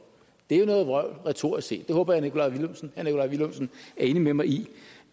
det er jo noget vrøvl retorisk set jeg håber at herre nikolaj villumsen er enig med mig i